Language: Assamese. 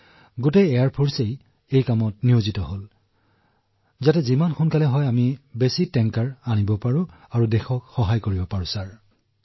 আন্তৰ্জাতিক মিছনবোৰো ২৪ ঘণ্টাই সম্পন্ন হৈছে